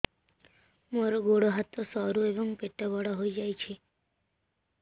ମୋର ଗୋଡ ହାତ ସରୁ ଏବଂ ପେଟ ବଡ଼ ହୋଇଯାଇଛି